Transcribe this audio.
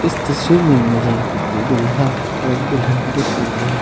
इस तस्वीर में मुझे एक दुल्हा और एक दुल्हन दिख रही है।